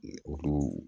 O